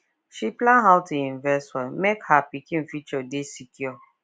she plan how to invest well make her pikin future dey secure